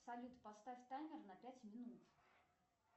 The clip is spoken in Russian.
салют поставь таймер на пять минут